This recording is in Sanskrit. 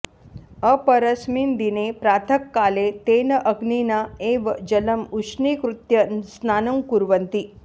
अपरस्मिन् दिने प्रातःकाले तेन अग्निना एव जलम् उष्णीकृत्य स्नानं कुर्वन्ति